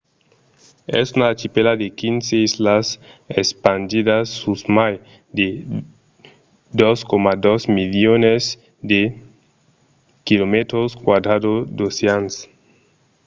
es una archipèla de 15 islas espandidas sus mai de 2,2 milions de km² d’ocean